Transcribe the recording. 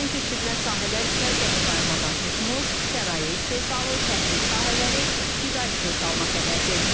Nəzərdən keçirilən sahələr isə gəmiqayırmadan tutmuş, sənaye istehsalı, təhsil sahələri, qida istehsalına qədərdir.